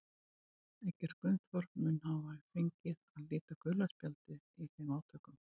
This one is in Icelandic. Eggert Gunnþór mun svo hafa fengið að líta gula spjaldið í þeim átökum.